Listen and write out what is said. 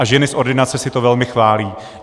A ženy z ordinace si to velmi chválí.